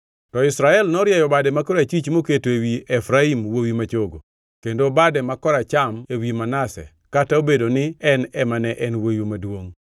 To Israel norieyo bade ma korachwich moketo ewi Efraim wuowi ma chogo, kendo bade ma koracham ewi Manase kata obedo ni en ema ne en wuowi maduongʼ.